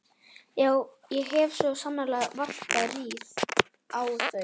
Já, ég hef svo sannarlega varpað rýrð á þau.